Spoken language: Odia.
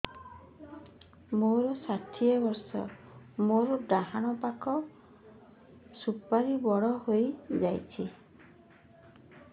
ମୋର ଷାଠିଏ ବର୍ଷ ମୋର ଡାହାଣ ପାଖ ସୁପାରୀ ବଡ ହୈ ଯାଇଛ